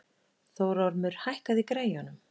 Þórormur, hækkaðu í græjunum.